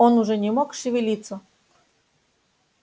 он уже не мог шевелиться